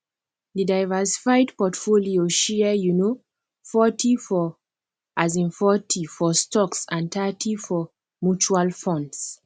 di diversified portfolio share um forty for um forty for stocks and thirty for mutual funds